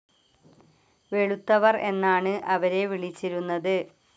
വെളുത്തവർ എന്നാണ് അവരെ വിളിച്ചിരുന്നത്.